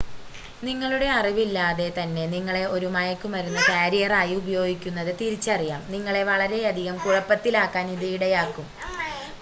നിങ്ങളുടെ അറിവില്ലാതെ തന്നെ നിങ്ങളെ ഒരു മയക്കുമരുന്ന് കാരിയറായി ഉപയോഗിക്കുന്നത് തിരിച്ചറിയാം നിങ്ങളെ വളരെയധികം കുഴപ്പത്തിലാക്കാൻ അത് ഇടയാക്കും